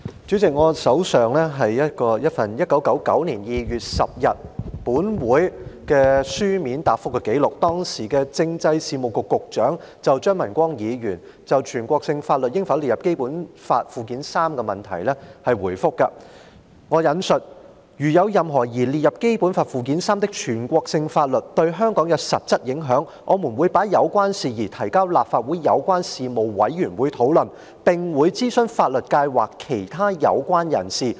主席，我手上有一份1999年2月10日立法會會議一項質詢的書面答覆，是時任政制事務局局長對張文光議員就全國性法律應否列入《基本法》附件三的質詢所作回覆，："如有任何擬列入《基本法》附件三的全國性法律對香港有實質影響，我們會把有關事宜提交立法會有關事務委員會討論，並會諮詢法律界或其他有關人士。